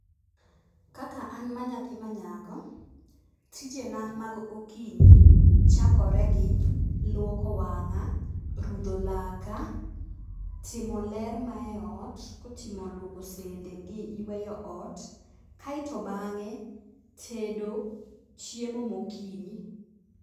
Kaka an manyathi manyako, tijena mag okinyi ,chakore gi; lwoko wang'a, rudho laka, timo ler mae ot, kotimo lwoko sende gi yweyo ot, kae to bang'e tedo chiemo ma gokinyi.